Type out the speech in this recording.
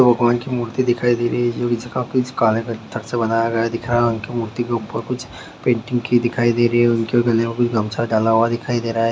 भगवान की मूर्ति दिखाई दे रही है जो किसी के हाथ से बनाया गया है दिख रहा है उनकी मूर्ति के ऊपर कुछ पेंटिंग की दिखाई दे रही है उनके गले में कोई गमछा डाला हुआ दिखाई दे रहा है।